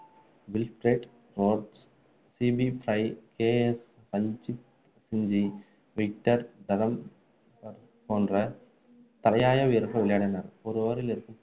Wilfred Rhodes, C B Fry, K S Ranjitsinhji, Victor ட்ரம்பர்போன்ற தலையாய வீரர்கள் விளையாடினர்